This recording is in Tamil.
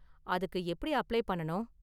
அதுக்கு எப்படி அப்ளை பண்ணனும்?